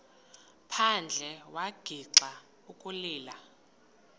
phandle wagixa ukulila